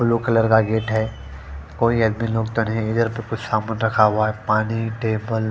blue colour का gate है कोई सामान रखा हुआ है पानी टेबल --